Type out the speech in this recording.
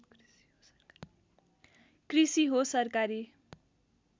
कृषि हो सरकारी